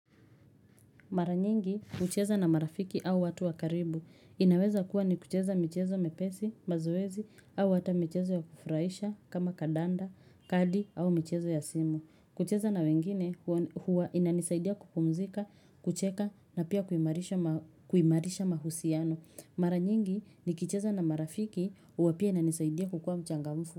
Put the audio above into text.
Maranyingi hucheza na marafiki au watu wakaribu. Inaweza kuwa ni kucheza michezo mepesi, mazoezi au hata michezo ya kufuraisha kama kadanda, kadi au michezo ya simu. Kucheza na wengine huwa inanisaidia kupumzika, kucheka na pia kuimarisha mahusiano. Maranyingi nikicheza na marafiki hua pia inanisaidia kukua mchangamfu.